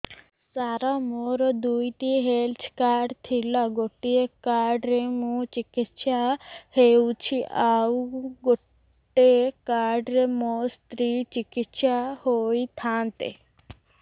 ସାର ମୋର ଦୁଇଟି health card ଥିଲା ଗୋଟେ କାର୍ଡ ରେ ମୁଁ ଚିକିତ୍ସା ହେଉଛି ଆଉ ଗୋଟେ କାର୍ଡ ରେ ମୋ ସ୍ତ୍ରୀ ଚିକିତ୍ସା ହୋଇଥାନ୍ତେ